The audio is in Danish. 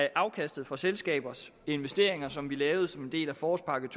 afkastet for selskabers investeringer som vi lavede som en del af forårspakke